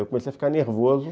Eu comecei a ficar nervoso.